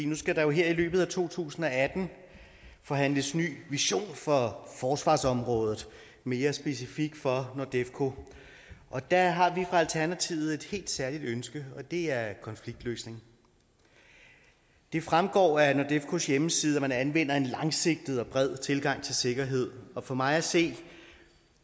nu skal der jo her i løbet af to tusind og atten forhandles ny vision for forsvarsområdet mere specifikt for nordefco og der har vi i alternativet et helt særligt ønske og det er konfliktløsning det fremgår af nordefcos hjemmeside at man anvender en langsigtet og bred tilgang til sikkerhed og for mig at se